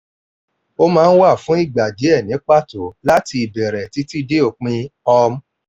ó máa ń wà fún ìgbà díẹ̀ ni pato láti ìbẹ̀rẹ̀ títí dé òpin um